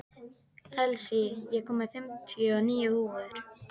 Elsí, ég kom með fimmtíu og níu húfur!